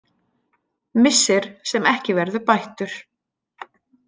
Missir sem ekki verður bættur.